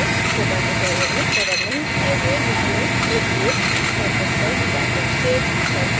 spoken tutorials में cover नहीं किये हुए विषयों के लिए इस address पर stack exchange पर जाएँ